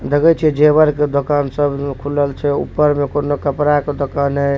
देखई छी जेवर के दुकान सब खुलल छे ऊपर में कोनो कपड़ा के दुकान है।